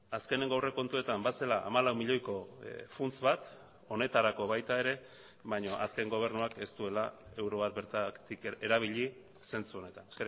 azkeneko aurrekontuetan bazela hamalau milioiko funts bat honetarako baita ere baina azken gobernuak ez duela euro bat bertatik erabili zentzu honetan